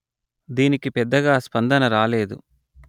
దీనికి పెద్దగా స్పందన రాలేదు